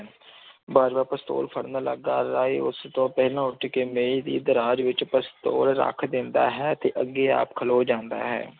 ਬਾਜਵਾ ਪਸਤੋਲ ਫੜਨ ਲੱਗਾ, ਰਾਏ ਉਸ ਤੋਂ ਪਹਿਲਾਂ ਉੱਠ ਕੇ ਮੇਜ਼ ਦੀ ਦਰਾਜ਼ ਵਿੱਚ ਪਸਤੋਲ ਰੱਖ ਦਿੰਦਾ ਹੈ, ਤੇ ਅੱਗੇ ਆ ਖਲੋ ਜਾਂਦਾ ਹੈ।